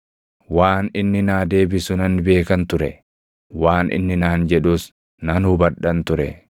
Waan inni naa deebisu nan beekan ture; waan inni naan jedhus nan hubadhan ture.